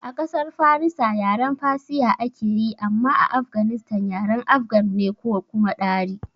A ƙasar farisa yaren Persia ake yi amma a Afganistan yaren afgan ne ko kuma Dari